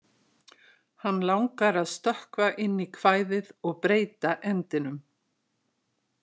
Hann langar að stökkva inn í kvæðið og breyta endinum.